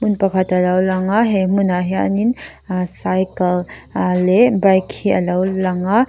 hmun pakhat alo lang he hmun ah hian in cycle a leh bike hi alo lang a.